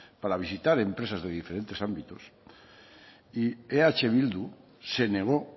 para visitar empresas de diferentes ámbitos y eh bildu se negó